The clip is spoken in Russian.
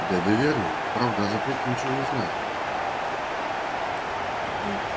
дядя вернон правда о запрете ничего не знает